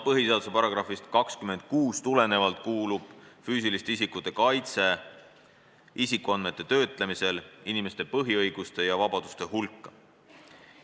"Põhiseaduse §-st 26 tulenevalt kuulub füüsiliste isikute kaitse isikuandmete töötlemisel inimeste põhiõiguste ja vabaduste hulka.